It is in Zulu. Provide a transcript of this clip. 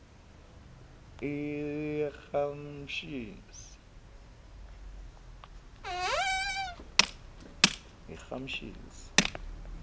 eramshesi